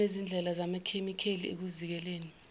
kunezindlela zamachemikheli ekuzikeleni